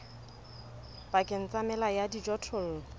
pakeng tsa mela ya dijothollo